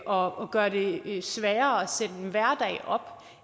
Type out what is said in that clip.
og gør det det sværere at sætte